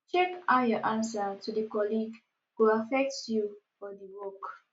check how your answer to di colleague go affect you or di work